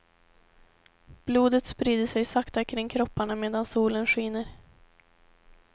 Blodet sprider sig sakta kring kropparna medan solen skiner.